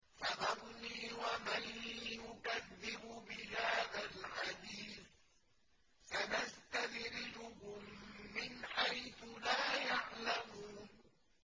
فَذَرْنِي وَمَن يُكَذِّبُ بِهَٰذَا الْحَدِيثِ ۖ سَنَسْتَدْرِجُهُم مِّنْ حَيْثُ لَا يَعْلَمُونَ